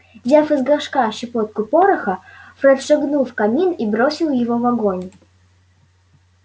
взяв из горшка щепотку пороха фред шагнул в камин и бросил его в огонь